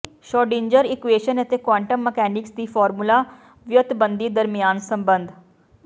Schrödinger equation ਅਤੇ quantum mechanics ਦੀ formula ਵਿਓਂਤਬੰਦੀ ਦਰਮਿਆਨ ਸਬੰਧ